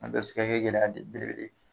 A bɛɛ bɛ se ka kɛ gɛlɛya belebele ye